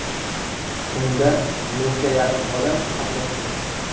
Unda mingga yaqin odam qatnashgan.